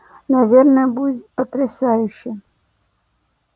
наверное будет потрясающе